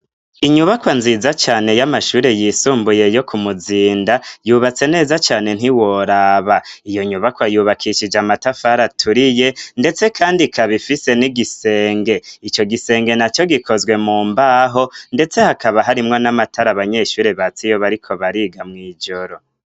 Inyubakwa nziza cane y'amashuri yisumbuye yo ku muzinda yubatse neza cane ntiworaba iyo nyubakwa yubakishije amatafariaturiye, ndetse, kandi kabifise n'igisenge ico gisenge na co gikozwe mu mbaho, ndetse hakaba harimwo n'amatara abanyeshuri batsiyoba ari ko bariga mw'ijoro.